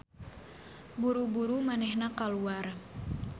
Buru-buru manehna kaluar.